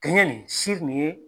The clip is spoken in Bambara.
kɛɲɛ nin si nin ye